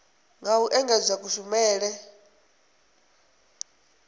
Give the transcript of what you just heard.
nga u engedzedza kushumele u